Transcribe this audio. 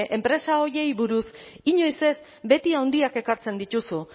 enpresa horiei buruz inoiz ez beti handiak ekartzen dituzu